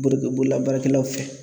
Bolola baarakɛlaw fɛ